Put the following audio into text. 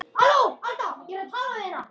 Ég kveð þig með tárum.